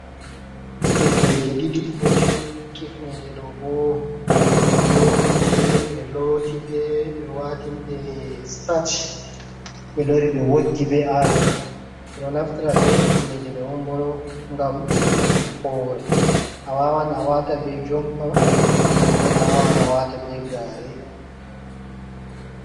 Kifneje ɗiɗi ɗo jodi, Kifneje ɗo bo ɓe Nyoti ɗe ɓe loti ɗe ɓe watiniɗe Sitach ɓe lori ɓe woggi be Ayon. ɓeɗo naftira be himneje ɗo bo ngam hifnuki hore. Awawan awata be Jompa nden Awawan awata be Gare.